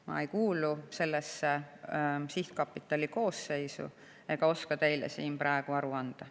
Ma ei kuulu selle sihtkapitali koosseisu ega oska teile siin praegu aru anda.